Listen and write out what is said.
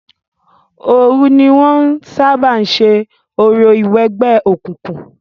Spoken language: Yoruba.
Òòru ní wọn ń sábà ń ṣe orò ìwẹgbẹ́ òkùnkun.